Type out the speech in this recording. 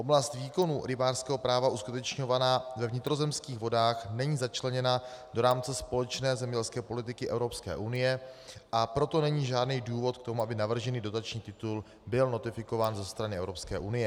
Oblast výkonu rybářského práva uskutečňovaná ve vnitrozemských vodách není začleněna do rámce společné zemědělské politiky Evropské unie, a proto není žádný důvod k tomu, aby navržený dotační titul byl notifikován ze strany Evropské unie.